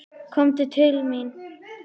Komdu til mín.